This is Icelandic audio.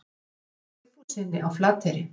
Snorra Sigfússyni á Flateyri.